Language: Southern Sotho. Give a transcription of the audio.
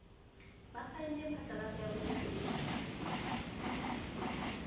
ba saene phatlalatso ya botshepehi